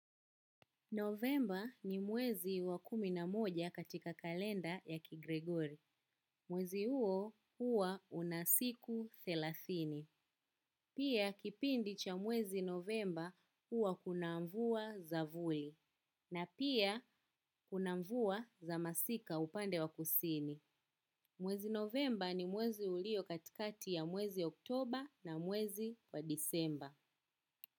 Novemba ni mwezi wa kumi na moja katika kalenda ya kigregori. Mwezi huo huwa una siku thelathini. Pia kipindi cha mwezi novemba huwa kuna mvua za vuli. Na pia kuna mvua za masika upande wa kusini. Mwezi novemba ni mwezi ulio katikati ya mwezi oktoba na mwezi wa disemba.